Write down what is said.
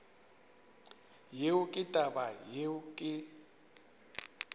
yeo ke taba yeo ke